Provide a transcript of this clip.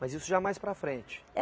Mas isso já mais para frente?